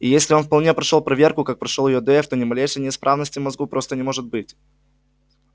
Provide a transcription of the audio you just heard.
и если он вполне прошёл проверку как прошёл её дейв то ни малейшей неисправности в мозгу просто не может быть